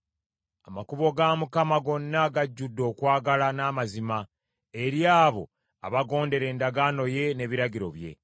Amakubo ga Mukama gonna gajjudde okwagala n’amazima eri abo abagondera endagaano ye n’ebiragiro bye.